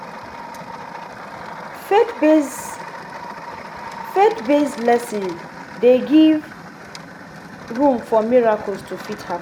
Faith based Faith based lessons de give room for miracles to fit happen